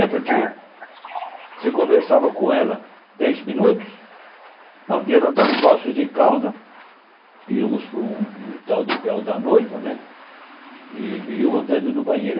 É porque você conversava com ela dez minutos, um dia nós estávamos em Poços de Calda, íamos para um tal de véu da noiva né, e me deu vontade de ir no banheiro.